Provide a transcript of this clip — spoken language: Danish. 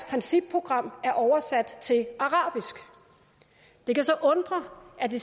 principprogram er oversat til arabisk det kan så undre at det